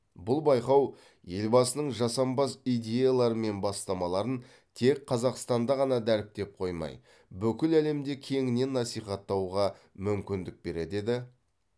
бұл байқау елбасының жасампаз идеялары мен бастамаларын тек қазақстанда ғана дәріптеп қоймай бүкіл әлемде кеңінен насихаттауға мүмкіндік береді деді